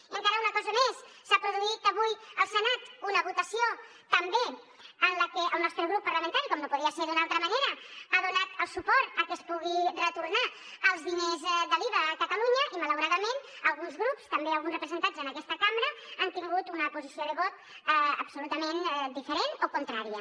i encara una cosa més s’ha produït avui al senat una votació també en la que el nostre grup parlamentari com no podia ser d’una altra manera ha donat el suport a que es pugui retornar els diners de l’iva a catalunya i malauradament alguns grups també alguns representats en aquesta cambra han tingut una posició de vot absolutament diferent o contrària